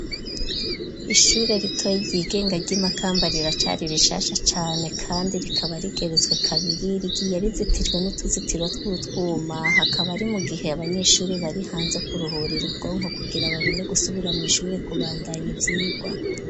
Ishure ritoye ryigenga ry'imakamba riracari rishasha cane kandi rikaba rigeretswe kabiri ryi ya rizitijwe n'utuzitiro twutwuma hakaba ari mu gihe abanyeshuri bari hanze kuruhur ir ubwonko kugira babone gusubira mu ishure ku bandanyo ivyigwa.